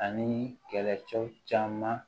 Ani kɛlɛcɛw caman